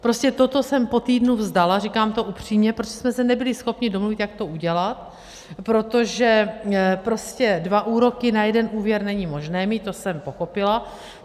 Prostě toto jsem po týdnu vzdala, říkám to upřímně, protože jsme se nebyli schopni domluvit, jak to udělat, protože prostě dva úroky na jeden úvěr není možné mít, to jsem pochopila.